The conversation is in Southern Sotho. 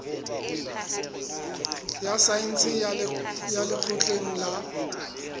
ya saense ya lekgotleng la